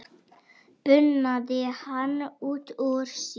bunaði hann út úr sér.